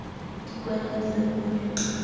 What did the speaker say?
di kwale a di rebole